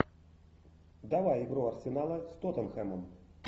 давай игру арсенала с тоттенхэмом